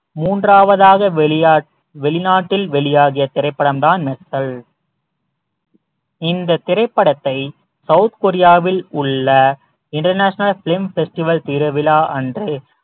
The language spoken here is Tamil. மூன்றாவதாக வெளியா~ வெளிநாட்டில் வெளியாகிய திரைப்படம்தான் மெர்சல் இந்த திரைப்படத்தை south korea வில் உள்ள international film festival திருவிழா அன்று